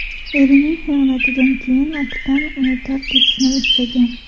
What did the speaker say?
Erining xiyonatidan keyin Aktan uni tark etishni istagan.